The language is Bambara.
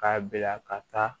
K'a bila ka taa